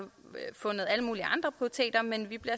fundet alle mulige andre prioriteter men vi bliver